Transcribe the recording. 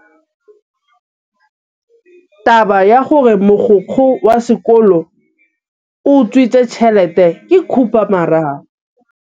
Taba ya gore mogokgo wa sekolo o utswitse tšhelete ke khupamarama.